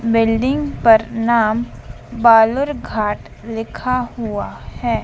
Building पर नाम बालूरघाट लिखा हुआ हैं।